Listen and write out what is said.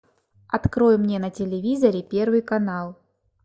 открой мне на телевизоре первый канал